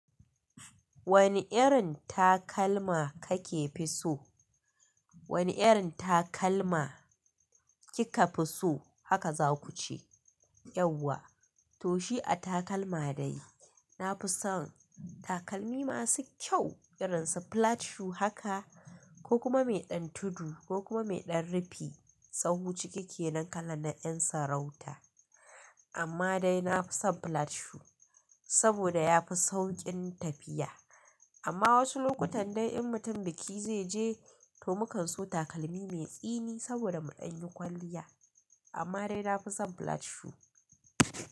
Wani irin takalma kake fi so? Wani irin takalma kika fi so? Haka za kuce. Yauwa, to shi a takalma dai. Na fi son takalmi masu kyau irin su flat shoe haka ko kuma mai ɗan tudu ko kuma mai ɗan rufi. Tsaho cike kenan kala na ƴan sarauta. Amma dai na fi son flat shoe saboda ya fi sauƙin tafiya. Amma wasu lokutan dai in mutum biki zai je, to mukan so takalmi mai tsini saboda mu ɗan yi kwalliya. Amma dai na fi son flat shoe.